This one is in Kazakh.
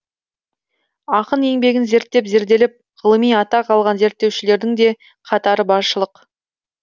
ақын еңбегін зерттеп зерделеп ғылыми атақ алған зерттеушілердің де қатары баршылық